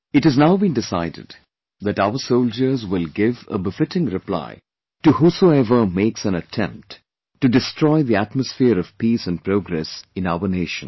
It has now been decided that our soldiers will give a befitting reply to whosoever makes an attempt to destroy the atmosphere of peace and progress in our Nation